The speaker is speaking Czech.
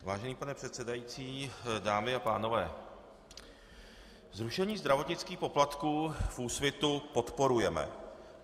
Vážený pane předsedající, dámy a pánové, zrušení zdravotnických poplatků v Úsvitu podporujeme.